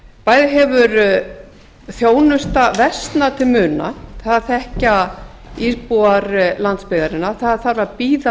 bæði hefur þjónusta versnað til muna það þekkja íbúar landsbyggðarinnar það þarf að bíða